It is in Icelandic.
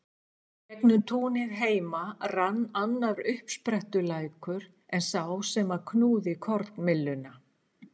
Í gegnum túnið heima rann annar uppsprettulækur en sá sem knúði kornmylluna.